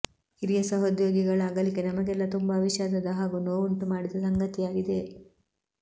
ಹಿರಿಯ ಸಹೋದ್ಯೋಗಿಗಳ ಅಗಲಿಕೆ ನಮಗೆಲ್ಲಾ ತುಂಬಾ ವಿಷಾದದ ಹಾಗೂ ನೋವುಂಟು ಮಾಡಿದ ಸಂಗತಿಯಾಗಿದೆ